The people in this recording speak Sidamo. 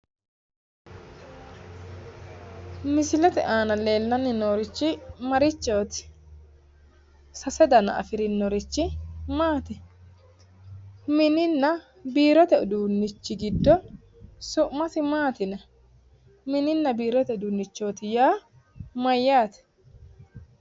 Misilete aana leellanni noorichi maati? Sase dana afirinnrichi maati? Mininna biirote uduunnichi giddo su'masi maati yinayi? Mimi biirote uduunnichooti yaa addi?